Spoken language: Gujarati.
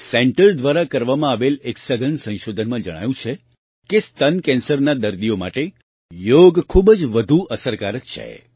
આ સેન્ટર દ્વારા કરવામાં આવેલા એક સઘન સંશોધનમાં જણાયું છે કે સ્તન કેન્સરના દર્દીઓ માટે યોગ ખૂબ જ વધુ અસરકારક છે